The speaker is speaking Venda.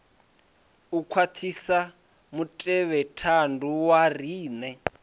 u khwaṱhisa mutevhethandu wa riṋe